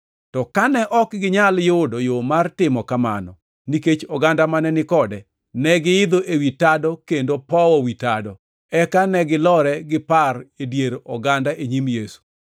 To kane ok ginyal yudo yo mar timo kamano nikech oganda mane ni kode, negiidho ewi tado kendo powo wi tado, eka negilore gi par e dier oganda e nyim Yesu.